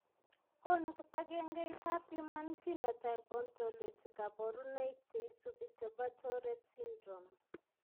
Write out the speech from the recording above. Konu kibagengeitab human phenotype ontology kaborunoik cheisubi chebo tourette syndrome.